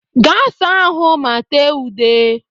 Gaa saa ahụ ma tee ude!